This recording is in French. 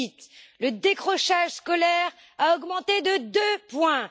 2008. Le décrochage scolaire a augmenté de deux points.